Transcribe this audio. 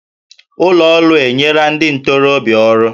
Ụlọ ọrụ enyela ndị ntorobịa ọrụ